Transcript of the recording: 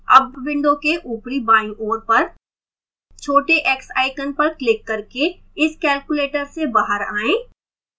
अब window के ऊपरी बाईं ओर पर छोटे x icon पर क्लिक करके इस calculator से बाहर आएं